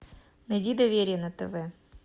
найди доверие на тв